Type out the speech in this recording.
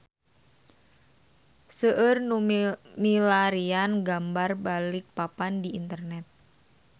Seueur nu milarian gambar Balikpapan di internet